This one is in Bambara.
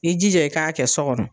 I jija i k'a kɛ so kɔnɔ.